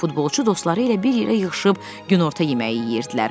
Futbolçu dostları ilə bir yerə yığışıb günorta yeməyi yeyirdilər.